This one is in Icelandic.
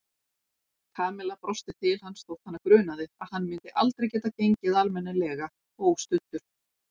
Kamilla brosti til hans þótt hana grunaði að hann myndi aldrei geta gengið almennilega óstuddur.